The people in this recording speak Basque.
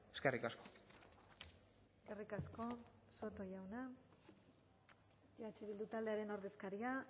eskerrik asko eskerrik asko soto jauna eh bildu taldearen ordezkaria